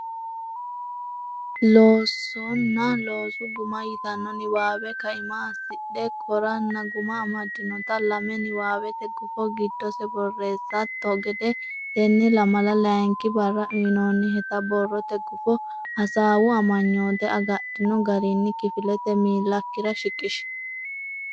Loosonna Loosu Guma yitanno niwaawe kaima assidhe koranna guma amaddinota lame niwaawete gufo giddose borreessatto gede tenne lamala layinki barra uynoonniheta borrote gufo hasaawu amanyoote agadhino garinni kifilete miillakkira shiqishi.